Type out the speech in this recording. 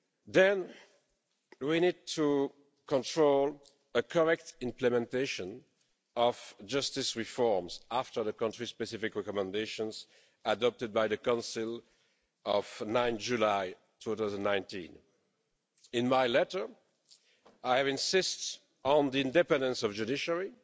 Then we need to control a correct implementation of justice reforms after the Country-Specific Recommendations adopted by the Council of 9 July 2019. In my letter, I have insisted on the independence of judiciary